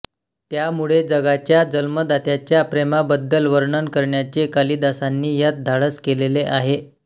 त्यामुळे जगाच्या जन्मदात्याच्या प्रेमाबद्दल वर्णन करण्याचे कालिदासांनी यात धाडस केलेले आहे